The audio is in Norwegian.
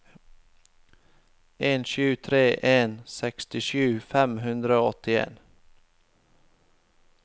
en sju tre en sekstisju fem hundre og åttien